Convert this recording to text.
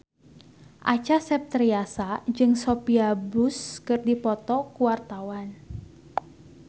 Acha Septriasa jeung Sophia Bush keur dipoto ku wartawan